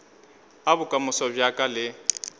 a bokamoso bja ka le